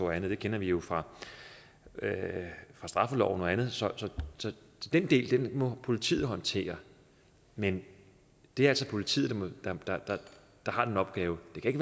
og andet det kender vi jo fra fra straffeloven og andet så den del må politiet håndtere men det er altså politiet der har den opgave det kan